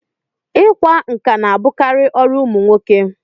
Ị kwa nkà na-abụkarị ọrụ ụmụ nwoke.